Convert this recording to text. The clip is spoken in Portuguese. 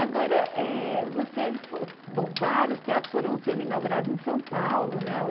Agora, eh você... Bom, vários teatros foram sendo inaugurados em São Paulo, né?